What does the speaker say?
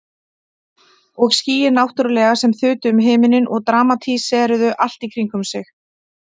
Og skýin náttúrlega sem þutu um himininn og dramatíseruðu allt í kringum sig.